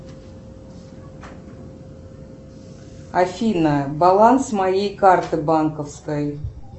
афина баланс моей карты банковской